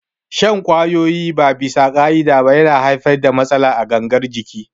Shan ƙwayoyi ba bisa ƙa'ida ba yana haifar da matsala a gangar jiki